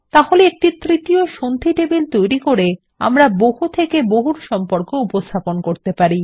তাহলে একটি তৃতীয় সন্ধি টেবিল তৈরি করে আমরা বহু থেকে বহু সম্পর্ক উপস্থাপন করতে পারি